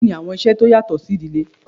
Kini awọn iṣẹ ti o yatọ si idile?